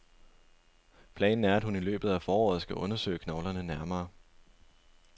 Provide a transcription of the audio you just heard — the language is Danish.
Planen er, at hun i løbet af foråret skal undersøge knoglerne nærmere.